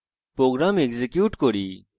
program execute করি